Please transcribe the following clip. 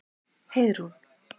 Heiðrún